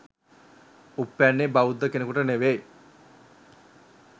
උප්පැන්නේ බෞද්ධ කෙනෙකුට නෙවෙයි